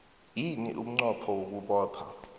yini umnqopho wokubopha